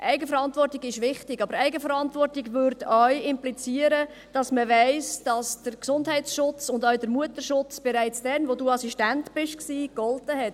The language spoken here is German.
Eigenverantwortung ist wichtig, aber Eigenverantwortung würde auch implizieren, dass man weiss, dass der Gesundheits- und auch der Mutterschutz bereits dann galten, als Sie Assistent waren.